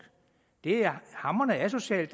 det er hamrende asocialt